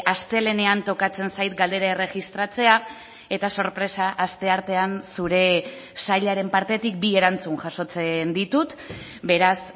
astelehenean tokatzen zait galdera erregistratzea eta sorpresa asteartean zure sailaren partetik bi erantzun jasotzen ditut beraz